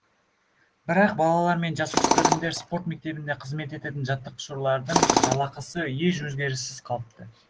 бірақ балалар мен жасөспірімдер спорт мектебінде қызмет ететін жаттықтырушылардың жалақысы еш өзгеріссіз қалыпты